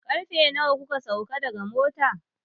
Karfe nawa kuka sauka daga mota?